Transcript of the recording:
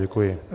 Děkuji.